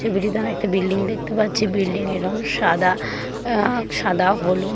ছবিটিতে আমি একটা বিল্ডিং দেখতে পাচ্ছি বিল্ডিং এর রং সাদা আ- সাদা হলুদ। .